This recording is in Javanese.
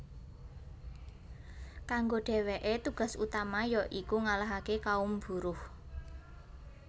Kanggo dèwèké tugas utama ya iku ngalahaké kaum buruh